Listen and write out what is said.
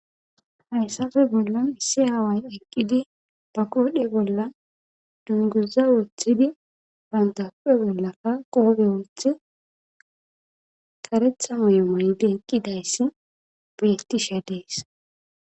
Hayssappe bollan issi aaway eqqidi ba koodhe bolla dunguza wothidi bantape bollakka qoobe wulthi karetha mayomaydi eqqidayssi beettishe dees.